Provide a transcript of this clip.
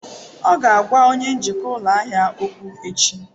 Ọ ga-agwa onye njikwa ụlọ ahịa okwu echi.